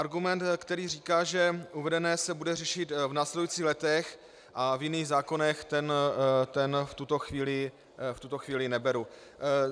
Argument, který říká, že uvedené se bude řešit v následujících letech a v jiných zákonech, ten v tuto chvíli neberu.